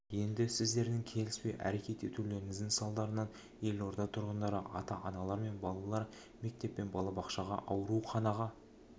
енді сіздердің келіспей әрекет етулеріңіздің салдарынан елорда тұрғындары ата-аналар мен балалар мектеп пен балабақшаға ауруханаға